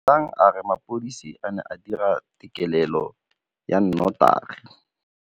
Duduetsang a re mapodisa a ne a dira têkêlêlô ya nnotagi.